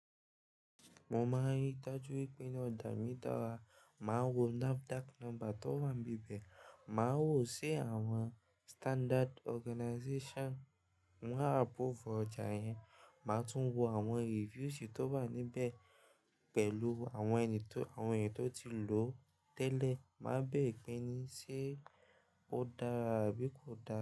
Mo máa yí dájú wípé ọjà mí dàra, máa wo NAFDAC number tó wà bibẹ̀, màá wo ṣé àwọn standard organization wọ́n approve ọjà yẹn, màá tún wo àwọn review tí ó bá wà níbẹ̀ pẹ̀lú àwọn ènìyàn tó ti lò ó tẹ́lẹ̀, máa béèrè pé ní ṣé ó dára àbí kò dára.